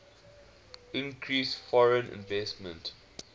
increased foreign investment